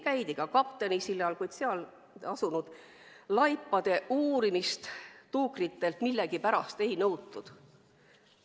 Käidi ka kaptenisillal, kuid seal asunud laipade uurimist tuukritelt millegipärast ei nõutud.